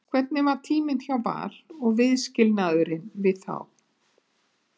Hvernig var tíminn hjá Val og viðskilnaðurinn við þá?